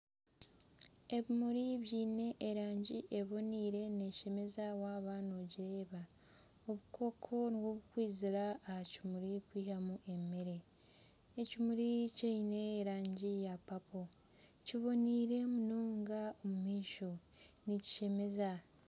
Ebimuri biine erangi neeshemeza waaba noogireeba, obukooko nibwo burikwizira aha kimuri kwihamu emeere, ekimuri kiine erangi ya papo, kiboniire munonga omu maisho nikishemeza